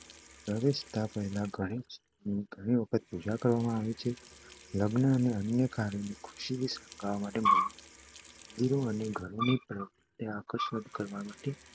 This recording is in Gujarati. પ્રવેશતા પહેલા ભગવાન ગણેશની ઘણી વખત પૂજા કરવામાં આવે છે. લગ્ન અને અન્ય કાર્યોને ખુશીથી શણગારવા